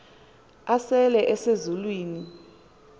asele ese zulwini